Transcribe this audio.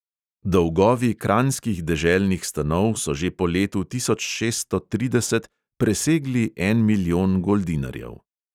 Dolgovi kranjskih deželnih stanov so že po letu tisoč šeststo trideset presegli en milijon goldinarjev.